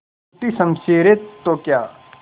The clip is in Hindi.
टूटी शमशीरें तो क्या